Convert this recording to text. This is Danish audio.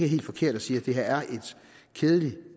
helt forkert at sige at det her er et kedeligt